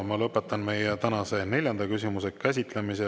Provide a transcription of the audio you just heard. Ma lõpetan meie tänase neljanda küsimuse käsitlemise.